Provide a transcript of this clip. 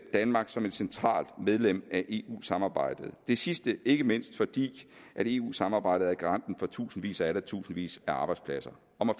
danmark som et centralt medlem af eu samarbejdet det sidste ikke mindst fordi eu samarbejdet er garanten for tusindvis og atter tusindvis af arbejdspladser